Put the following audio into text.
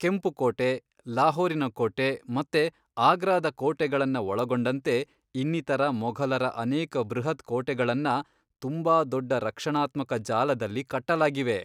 ಕೆಂಪು ಕೋಟೆ, ಲಾಹೋರಿನ ಕೋಟೆ ಮತ್ತೆ ಅಗ್ರಾದ ಕೋಟೆಗಳನ್ನ ಒಳಗೊಂಡಂತೆ ಇನ್ನಿತರ ಮೊಘಲರ ಅನೇಕ ಬೃಹತ್ ಕೋಟೆಗಳನ್ನ ತುಂಬಾ ದೊಡ್ಡ ರಕ್ಷಣಾತ್ಮಕ ಜಾಲದಲ್ಲಿ ಕಟ್ಟಲಾಗಿವೆ.